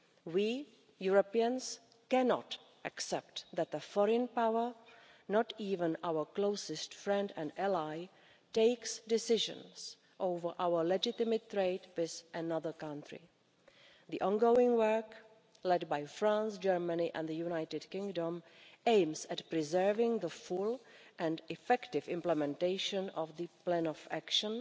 We Europeans cannot accept that a foreign power, not even our closest friend and ally, takes decisions over our legitimate trade with another country. The ongoing work, led by France, Germany and the United Kingdom, aims at preserving the full and effective implementation of the plan of action